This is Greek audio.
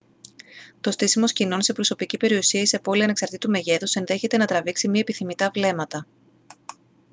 το στήσιμο σκηνών σε προσωπική περιουσία ή σε πόλη ανεξαρτήτου μεγέθους ενδέχεται να τραβήξει μη επιθυμητά βλέμματα